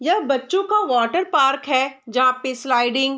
यह बच्चो का वाटर पार्क है जहाँ पे स्लाइडिंग --